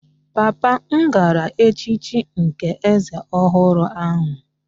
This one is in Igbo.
Papa m gara echichi nke eze ọhụrụ ahụ